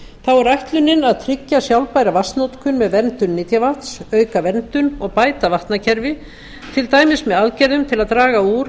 þá er ætlunin að tryggja sjálfbæra vatnsnotkun með verndun nytjavatns auka verndun og bæta vatnakerfi til dæmis með aðgerðum til að draga úr